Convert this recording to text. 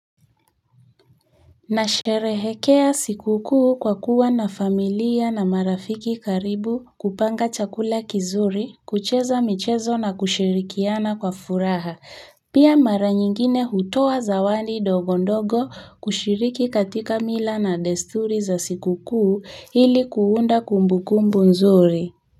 Na sherehekea siku kuu kwa kuwa na familia na marafiki karibu kupanga chakula kizuri kucheza michezo na kushirikiana kwa furaha pia mara nyingine hutoa zawani ndogo ndogo kushiriki katika mila na desturi za siku kuu ili kuunda kumbukumbu nzuri.